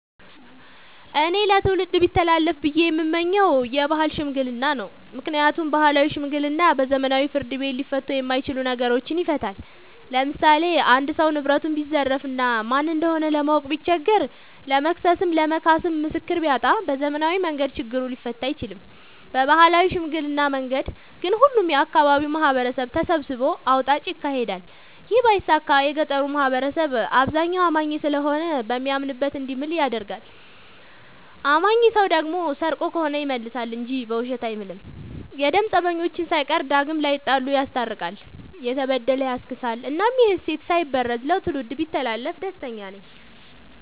እኔ ለትውልድ ቢተላለፍ ብዬ የምመኘው የባህል ሽምግልና ነው። ምክንያቱም ባህላዊ ሽምግልና በዘመናዊ ፍርድ ቤት ሊፈቱ የማይችሉ ነገሮችን ይፈታል። ለምሳሌ አንድ ሰው ንብረቱን ቢዘረፍ እና ማን እንደሆነ ለማወቅ ቢቸገር ለመክሰስም ለመካስም ምስክር ቢያጣ በዘመናዊ መንገድ ችግሩ ሊፈታ አይችልም። በባህላዊ ሽምግልና መንገድ ግን ሁሉም የአካባቢው ማህበረሰብ ተሰብስቦ አውጣጭ ይካሄዳል ይህ ባይሳካ የገጠሩ ማህበረሰብ አብዛኛው አማኝ ስለሆነ በሚያምንበት እንዲምል ይደረጋል። አማኝ ሰው ደግሞ ሰርቆ ከሆነ ይመልሳ እንጂ በውሸት አይምልም። የደም ፀበኞችን ሳይቀር ዳግም ላይጣሉ ይስታርቃል፤ የተበደለ ያስክሳል እናም ይህ እሴት ሳይበረዝ ለትውልድ ቢተላለፍ ደስተኛ ነኝ።